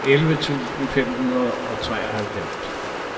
elleve tusind fem hundrede og treoghalvfems